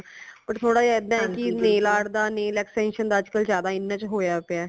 but ਥੋੜਾ ਜਾ ਇਦਾ ਹੈ ਕਿ nail art ਦਾ nail extension ਦਾ ਅਜ ਕਲ ਜਿਆਦਾ ਇਨਾ ਚ ਹੋਇਆ ਪਿਆ ਹੈ